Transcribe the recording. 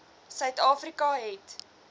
suid afrika het